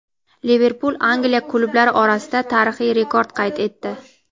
"Liverpul" Angliya klublari orasida tarixiy rekord qayd etdi.